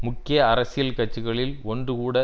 முக்கிய அரசியல் கட்சிகளில் ஒன்று கூட